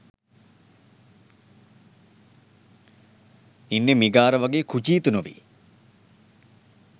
ඉන්නෙ මිගාර වගේ කුජීත නොවී.